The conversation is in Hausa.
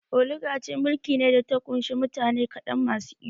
Oligaci mulki ne da ta ƙunshi mutane kaɗan masu iko